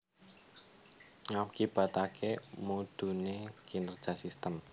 Ngakibataké mudhuné kinerja sistem